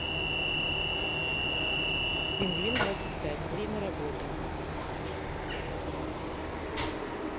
пингвиндвадцатьпять время работы